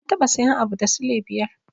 Na taɓa sayan abu da sule biyar.